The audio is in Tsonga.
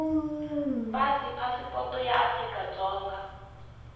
pasi phasipoto ya afrika dzonga